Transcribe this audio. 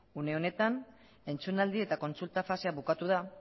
une honetan entzunaldi eta kontsulta fasea bukatu da